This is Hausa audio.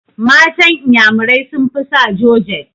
Matan inyamurai sun fi sa jorjet